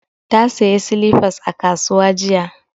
Ta saya silifas a kasuwa jiya